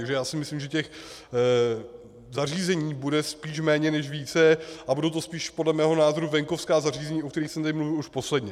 Takže já si myslím, že těch zařízení bude spíš méně než více a budou to spíš podle mého názoru venkovská zařízení, o kterých jsem tady mluvil už posledně.